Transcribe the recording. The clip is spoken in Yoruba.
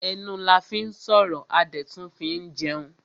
Ẹnu la fín sọ̀rọ̀ a dẹ̀ tún fín jẹun.